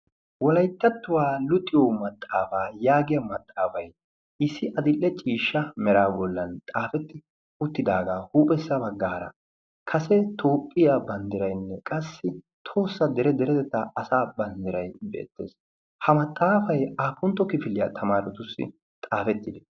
walaittattuwaa luxiyo maxaafaa yaagiya maxaafai issi adill'e ciishsha mera bollan xaafetti uttidaagaa huuphessa baggaara kase toophphiyaa banddirainne qassi tohossa dere deretetta asa banddirai beettees ha maxaafai apuntto kifiliyaa tamaaratussi xaafettide?